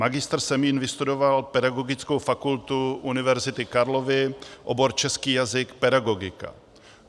Magistr Semín vystudoval Pedagogickou fakultu Univerzity Karlovy, obor český jazyk - pedagogika.